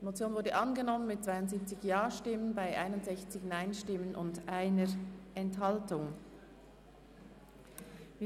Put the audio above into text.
Sie haben die Motion mit 72 Ja- zu 61 NeinStimmen bei 1 Enthaltung überwiesen.